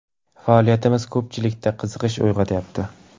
Faoliyatimiz ko‘pchilikda qiziqish uyg‘otyapti.